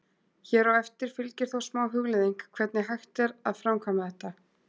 Hér á eftir fylgir þó smá hugleiðing hvernig hægt er að framkvæma þetta.